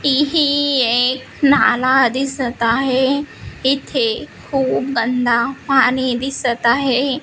इ ही एक नाला दिसत आहे इथे खूप गंदा पाणी दिसत आहे.